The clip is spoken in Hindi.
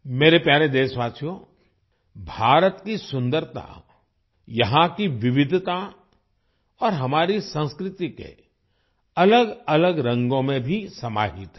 मेरे प्यारे देशवासियो भारत की सुन्दरता यहाँ की विविधता और हमारी संस्कृति के अलगअलग रंगों में भी समाहित है